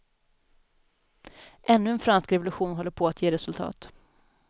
Ännu en fransk revolution håller på att ge resultat.